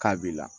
K'a b'i la